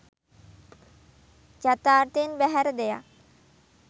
යථාර්ථයෙන් බැහැර දෙයක්